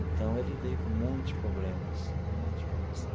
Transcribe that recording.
Então, ele veio com muitos problemas, muitos problemas de